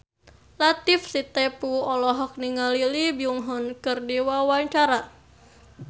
Latief Sitepu olohok ningali Lee Byung Hun keur diwawancara